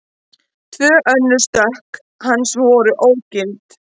Tvö önnur stökk hans voru ógild